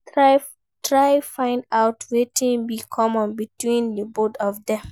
Try find out wetin de common between di both of dem